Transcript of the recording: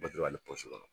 Bato ale kɔnɔ